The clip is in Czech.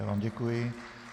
Já vám děkuji.